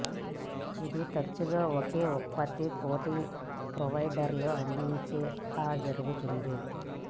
ఇది తరచుగా ఒకే ఉత్పత్తి పోటీ ప్రొవైడర్లు అందించే ఆ జరుగుతుంది